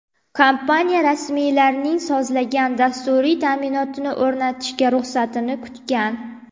Kompaniya rasmiylarning sozlangan dasturiy ta’minotni o‘rnatishga ruxsatini kutgan.